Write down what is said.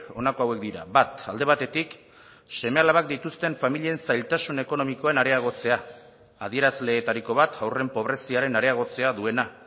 honako hauek dira bat alde batetik seme alabak dituzten familien zailtasun ekonomikoen areagotzea adierazleetariko bat haurren pobreziaren areagotzea duena